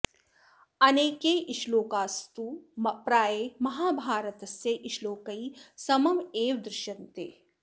अनेके श्लोकास्तु प्रायः महाभारतस्य श्लोकैः समम् एव दृश्यन्ते